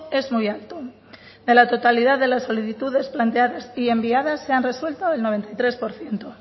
es muy alto de la totalidad de las solicitudes planteadas y enviadas se han resuelto el noventa y tres por ciento